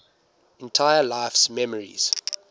entire life's memories